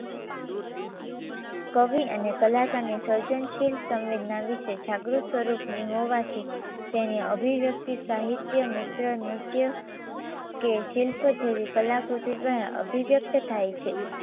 કવિ અને કલાકારની સર્જનશીલ સંવેદના વિશે જાગૃત સ્વરૂપની હોવાથી તેની અભિવ્યક્તિ સાહિત્ય મિત્ર નૃત્ય કે શિલ્પ જેવી કલાકૃતિ દ્વારા અભિવ્યક્ત થાય છે